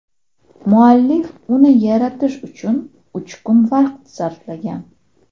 Muallif uni yaratish uchun uch kun vaqt sarflagan.